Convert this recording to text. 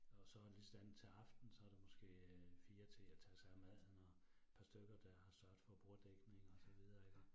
Og så lige sådan til aften, så der måske øh 4 til at tage sig af maden og par stykker der har sørget for borddækning og så videre iggå